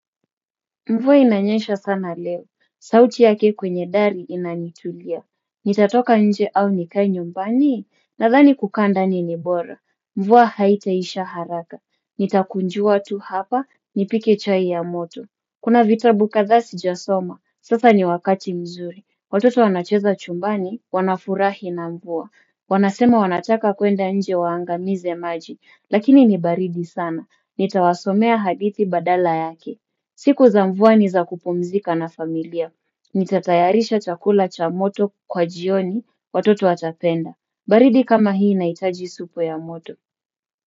Mvua inanyesha sana leo. Sauti yake kwenye dari inanitulia. Nitatoka nje au nikae nyumbani. Nadhani kukanda nini bora. Mvua haitaisha haraka. Nitakunjua tu hapa. Nipike chai ya moto. Kuna vitabu kadhaa sijasoma. Sasa ni wakati mzuri. Watoto wanacheza chumbani. Wanafurahi na mvuwa. Wanasema wanataka kuenda nje waangamize maji. Lakini ni baridi sana. Nitawasomea hadithi badala yake. Siku za mvua ni za kupumzika na familia. Nitatayarisha chakula cha moto kwa jioni watoto watapenda. Baridi kama hii inahitaji supu ya moto.